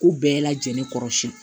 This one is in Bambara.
Ko bɛɛ lajɛlen kɔrɔsiyɛn